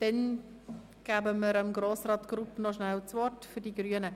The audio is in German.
– Dann geben wir Grossrat Grupp noch rasch das Wort für die Grünen.